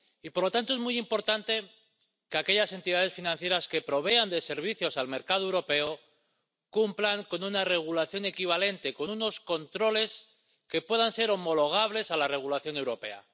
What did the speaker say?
Y, por lo tanto, es muy importante que aquellas entidades financieras que provean de servicios al mercado europeo cumplan con una regulación equivalente, con unos controles que puedan ser homologables a la regulación europea.